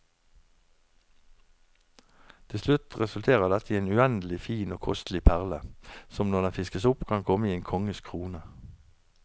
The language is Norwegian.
Til slutt resulterer dette i en uendelig fin og kostelig perle, som når den fiskes opp kan komme i en konges krone.